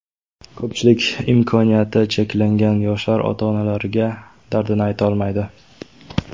Ko‘pchilik imkoniyati cheklangan yoshlar ota-onalariga dardini aytolmaydi.